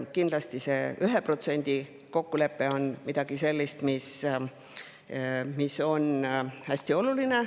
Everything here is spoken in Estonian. Kindlasti on see 1% kokkulepe hästi oluline.